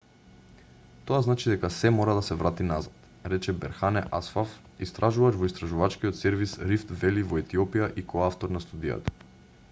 тоа значи дека сѐ мора да се врати назад рече берхане асфав истражувач во истражувачкиот сервис рифт вели во етиопија и коавтор на студијата